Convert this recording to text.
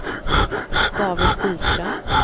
David Byström